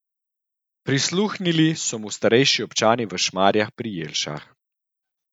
Prisluhnili so mu starejši občani v Šmarju pri Jelšah.